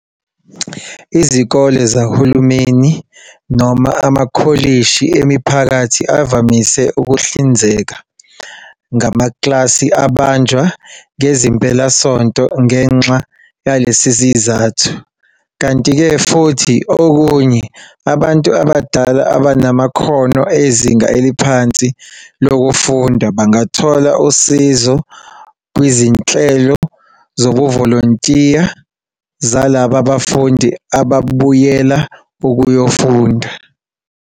Izikole zohulumeni noma amakholishi emiphakathi avamise ukuhlinzeka ngamaklasi abanjwa ngezimpelasonto ngenxa yalesi sizathu. Kanti-ke futhi okunye, abantu abadala abanamakhono ezinga eliphansi lokufunda bangathola usizo kwizinhlelo zobuvolontiya zalaba bafundi ababuyela ukuyofunda.